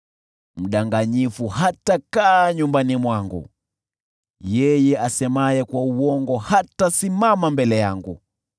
Mdanganyifu hatakaa nyumbani mwangu, yeye asemaye kwa uongo hatasimama mbele yangu.